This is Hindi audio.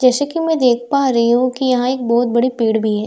जैसे कि मैं देख पा रही हूं कि यहां एक बहुत बड़ी पेड़ भी है।